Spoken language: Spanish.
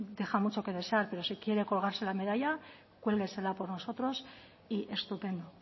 desear pero si quiere colgarse la medalla cuélguesela por nosotros y estupendo